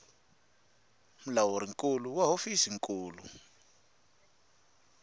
mulawuri nkulu wa hofisi nkulu